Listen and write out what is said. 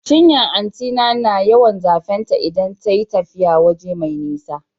Cinyan anti na na yawan zafe ta idan ta yi tafiya waje mai nisa